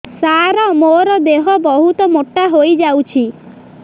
ସାର ମୋର ଦେହ ବହୁତ ମୋଟା ହୋଇଯାଉଛି